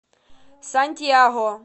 сантьяго